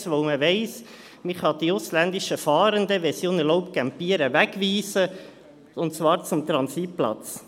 Denn man weiss, dass man die ausländischen Fahrenden, wenn sie unerlaubt campieren, wegweisen kann, und zwar zum Transitplatz.